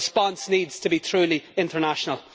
The response needs to be truly international.